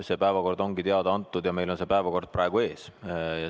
See päevakord ongi teada antud ja meil on see päevakord praegu ees.